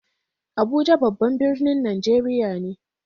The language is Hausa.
Abuja babban birnin Najeriya ne.